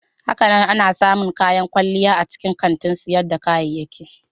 Hakanan ana samun kayan kwalliya a cikin kantin sayar da kayayyaki.